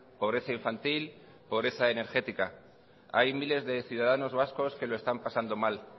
pobreza infantil pobreza energética hay miles de ciudadanos vascos que lo están pasando mal